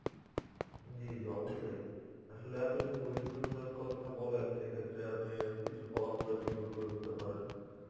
জি জি অবশ্যই. আসলে আপনি যদি বৈশিক উষ্ণতার কথা বলেন সেক্ষেত্রে আপনি কিছু ফলাফলের দিকও তুলে ধরতে পারেন.